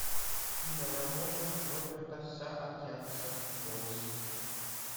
киноработа роберта саакянца поиск